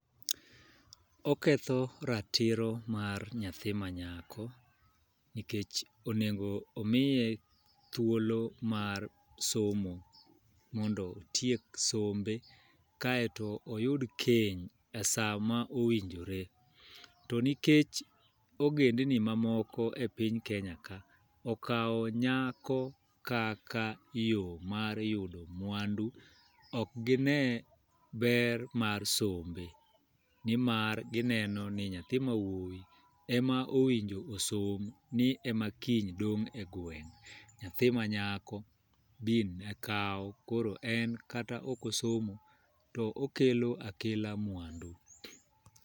Oketho ratiro mar nyathi ma nyako, nikech onego omiye thuolo mar somo mondo otiek sombe. Kaeto oyud keny e sa ma owinjore. To nikech ogendni ma moko e piny Kenya ka, okawo nyako kaka yo mar yudo mwandu, ok gine ber mar sombe. Nimar gineno ni nyathi ma wuowi, ema owinjo osom ni ema kiny dong' e gweng'. Nyathi ma nyako, bin ne kawo koro en kata ok osomo to okelo akela mwandu.